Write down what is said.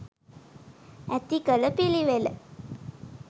ඇති කළ පිළිවෙල.